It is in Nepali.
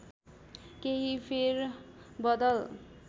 केही फेर बदल